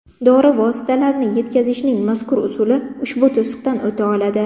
Dori vositalarini yetkazishning mazkur usuli ushbu to‘siqdan o‘ta oladi.